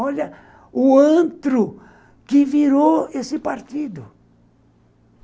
Olha o antro que virou esse partido.